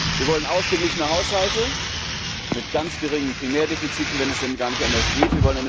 Wir wollen ausgeglichene Haushalte mit sehr geringen Primärdefiziten, wenn es denn gar nicht anders geht.